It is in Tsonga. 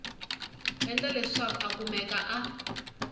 endla leswaku a kumeka a